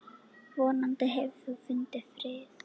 Vonandi hefur þú fundið frið.